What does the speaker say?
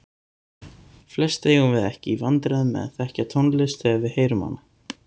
Flest eigum við ekki í vandræðum með að þekkja tónlist þegar við heyrum hana.